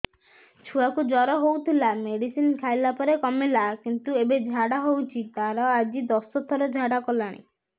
ଛୁଆ କୁ ଜର ହଉଥିଲା ମେଡିସିନ ଖାଇଲା ପରେ କମିଲା କିନ୍ତୁ ଏବେ ଝାଡା ହଉଚି ତାର ଆଜି ଦଶ ଥର ଝାଡା କଲାଣି